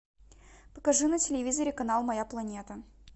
покажи на телевизоре канал моя планета